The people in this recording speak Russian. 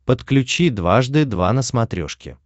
подключи дважды два на смотрешке